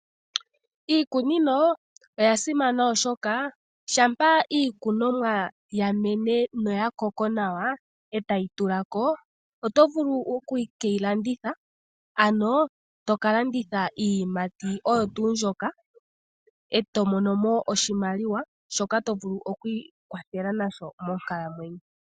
Iikunino oya simana oshoka shampa iikunomwa ya mene noya koko nawa e tayi tula ko oto vulu oku keyi landitha, ano to ka landitha iiyimati oyo tuu mbyoka e to mono mo iimaliwa shoka to vulu okwiikwathela nasho.